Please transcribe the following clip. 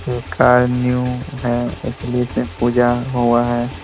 ये car new है इसलिए इसे पूजा हुआ है।